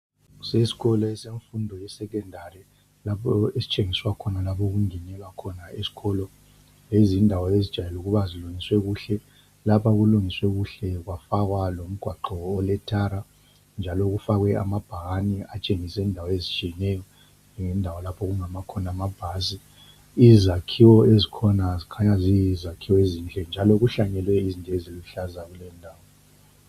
Kusesikolo semfundo yeSecondary, lapho esitshengiswa khona lapho okungenelwa khona esikolo. Lezi zindawo ezijayele ukuba zilungiswe kuhle. Lapha kulungiswe kuhle kwafakwa lomgwaqo olethara, njalo kufakwe amabhakane atshengisa indawo ezitshiyeneyo, lendawo lapho okungama khona amabhasi. Izakhiwo ezikhona zikhanya ziyizakhiwo ezinhle njalo kuhlanyelwe izinto eziluhlaza kulendawo.